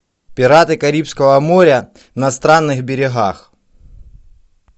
пираты карибского моря на странных берегах